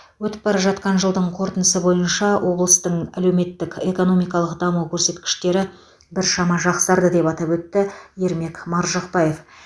өтіп бара жатқан жылдың қорытындысы бойынша облыстың әлеуметтік экономикалық даму көрсеткіштері біршама жақсарды деп атап өтті ермек маржықпаев